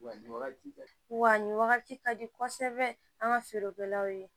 Wa ni wagati ka di wa ni wagati ka di kosɛbɛ an ka feerekɛlaw ye